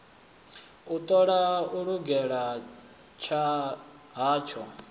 u ṱola u lugela hatsho